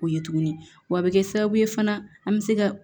O ye tuguni wa a bi kɛ sababu ye fana an mi se ka